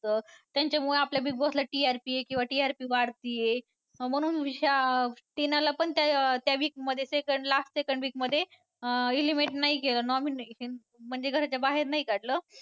त्यांच्यामुळं आपल्या BIgg Boss ला TRP येतीये किंवा TRP वाढतीये म्हणून टिनाला पण त्या week मध्ये ते last second week मध्ये अं eliminate नाही केलं nominate केलं म्हणजे घराच्या बाहेर नाही काढलं.